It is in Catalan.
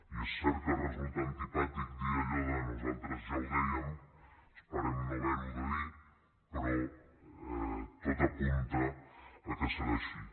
i és cert que resulta antipàtic dir allò de nosaltres ja ho dèiem esperem no haverho de dir però tot apunta que serà així